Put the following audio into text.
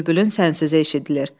Bülbülün sənsizi eşidilir.